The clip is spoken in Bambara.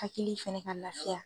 Hakili fɛnɛ ka lafiya.